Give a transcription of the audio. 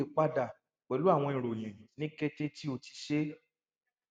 o le pada pẹlu awọn iroyin ni kete ti o ti ṣe